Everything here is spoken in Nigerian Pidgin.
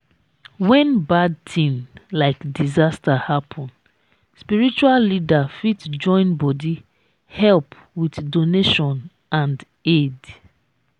when bad thing like disaster happen spiritual leader fit join bodi help with donation and aid